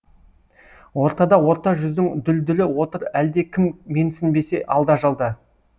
ортада орта жүздің дүлдүлі отыр әлде кім менсінбесе алда жалда